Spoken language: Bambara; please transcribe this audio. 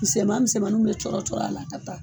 Misɛnman misɛnmaninw bɛ cɔrɔ cɔrɔ a la ka taa